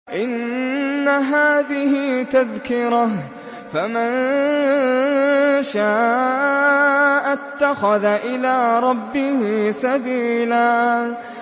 إِنَّ هَٰذِهِ تَذْكِرَةٌ ۖ فَمَن شَاءَ اتَّخَذَ إِلَىٰ رَبِّهِ سَبِيلًا